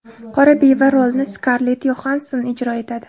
Qora beva rolini Skarlett Yoxanson ijro etadi.